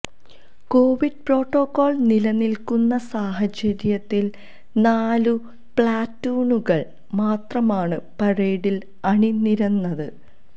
Covid protocol നിലനിൽക്കുന്ന സാഹചര്യത്തിൽ നാലു പ്ലാറ്റൂണുകൾ മാത്രമാണ് പരേഡിൽ അണിനിരന്നത്